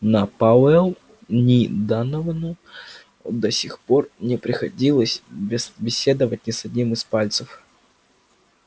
ни пауэллу ни доновану до сих пор не приходилось беседовать ни с одним из пальцев